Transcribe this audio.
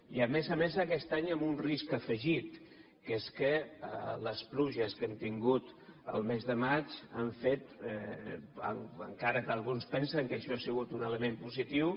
i a més a més aquest any amb un risc afegit que és que les pluges que hem tingut el mes de maig han fet en·cara que alguns pensen que això ha sigut un element positiu